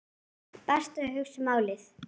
Best að hugsa málið.